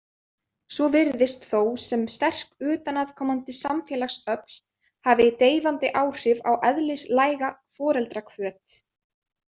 Svo virðist þó sem sterk utanaðkomandi samfélagsöfl hafi deyfandi áhrif á eðlislæga foreldrahvöt.